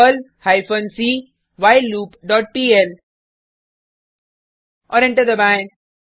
Perl hyphen C while loop dot PL औऱ enter दबाएँ